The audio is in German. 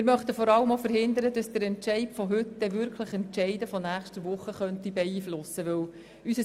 Wir möchten insbesondere verhindern, dass der Entscheid von heute die Entscheide von nächster Woche beeinflussen könnte.